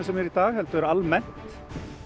sem er í dag heldur almennt